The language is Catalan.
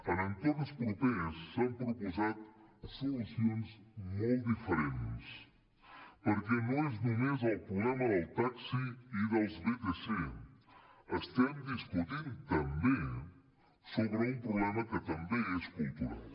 en entorns propers s’han proposat solucions molt diferents perquè no és només el problema del taxi i dels vtc estem discutint també sobre un problema que també és cultural